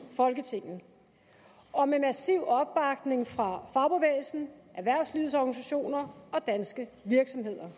folketinget og med massiv opbakning fra fagbevægelsen erhvervslivets organisationer og danske virksomheder